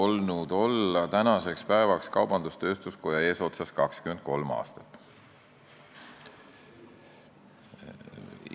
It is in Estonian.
Minul on tänaseks päevaks olnud au olla kaubandus-tööstuskoja eesotsas 23 aastat.